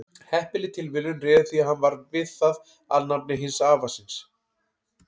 heppileg tilviljun réði því að hann varð við það alnafni hins afa síns